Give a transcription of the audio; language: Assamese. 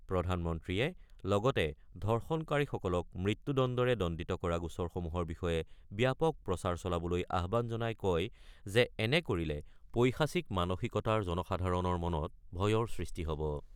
প্ৰধানমন্ত্ৰীয়ে লগতে ধৰ্ষনকাৰীসকলক মৃত্যুদণ্ডৰে দণ্ডিত কৰা গোচৰসমূহৰ বিষয়ে ব্যাপক প্ৰচাৰ চলাবলৈ আহ্বান জনাই কয় যে এনে কৰিলে পৈশাচিক মানসিকতাৰ জনসাধাৰণৰ মনত ভয়ৰ সৃষ্টি হ'ব।